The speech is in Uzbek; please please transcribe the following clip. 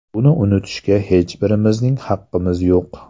Buni unutishga hech birimizning haqqimiz yo‘q.